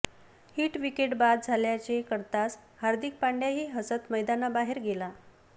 hit wicket बाद झाल्याचे कळताच हार्दिक पांड्याही हसत मैदानाबाहेर गेला